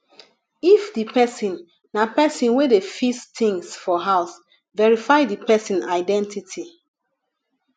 if di person na person wey dey fis things for house verify di person identity